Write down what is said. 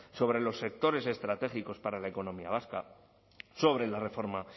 sobre los sectores estratégicos para la economía vasca sobre la reforma